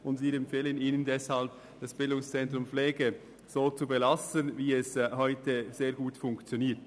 Wir empfehlen Ihnen deshalb, das BZ Pflege so zu belassen, wie es heute bereits sehr gut funktioniert.